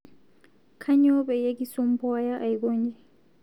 Aanyo payie kisompuaya aikonyi